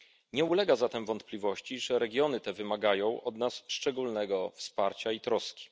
Nie ulega zatem wątpliwości, że regiony te wymagają od nas szczególnego wsparcia i troski.